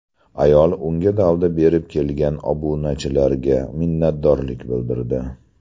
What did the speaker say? Ayol unga dalda berib kelgan obunachilariga minnatdorlik bildirdi.